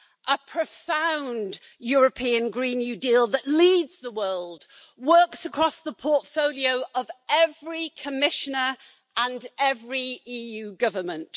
A profound European Green New Deal that leads the world, works across the portfolio of every Commissioner and every EU government.